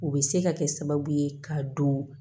O bɛ se ka kɛ sababu ye k'a dɔn